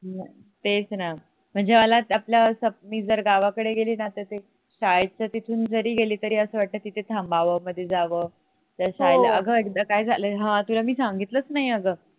तेच न म्हणजे मला आपल अस मी जर गाव कडे गेली न तर ते शाळेच्या तिथून जरी गेली तरी अस वाटत कि तिथे थांबव आतमध्ये जाव अग एकदा काय झालय ह तुला मी सांगितलच नाही अग